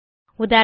உதாரணமாக